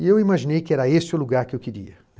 E eu imaginei que era esse o lugar que eu queria, né.